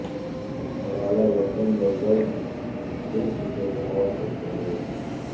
Malala London میں girls summit سے خطاب کرتے ہوئے